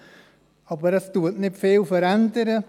Es hat sich aber nicht viel geändert.